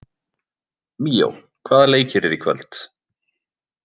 Míó, hvaða leikir eru í kvöld?